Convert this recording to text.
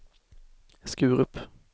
Skurup